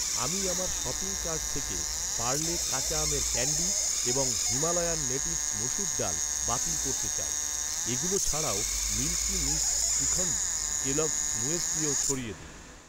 আমি আমার shopping cart থেকে পার্লে কাঁচা আমের ক্যান্ডি এবং হিমালয়ান নেটিভস মুসুর ডাল বাতিল করতে চাই। এগুলো ছাড়াও, মিল্কি মিস্ট শ্রীখন্দ , কেলগস মুয়েসলিও সরিয়ে দিন।